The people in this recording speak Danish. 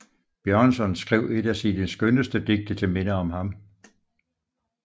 Bjørnson skrev et af sine skønneste Digte til Minde om ham